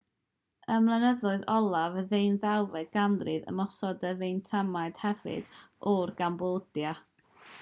ym mlynyddoedd olaf y ddeunawfed ganrif ymosododd y fietnamiaid hefyd ar gambodia